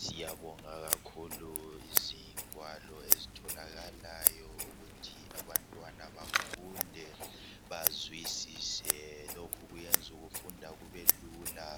Siyabonga kakhulu izingwalo ezitholakalayo ukuthi abantwana bafunde bazwisisa. Lokhu kwenza ukufunda kube lula